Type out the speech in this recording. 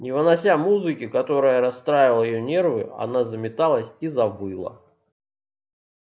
не вынося музыки которая расстраивала её нервы она заметалась и завыла